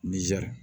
Nizɛri